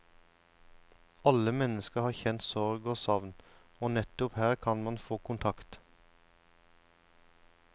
Alle mennesker har kjent sorg og savn, og nettopp her kan man få kontakt.